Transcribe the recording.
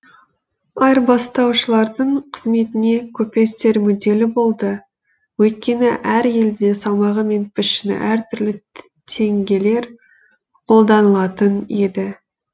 айырбастаушылардың қызметіне көпестер мүдделі болды өйткені әр елде салмағы мен пішіні әр түрлі теңгелер қолданылатын еді